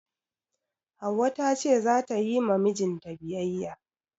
Hauwa ta ce za ta yi ma mijinta biyayya.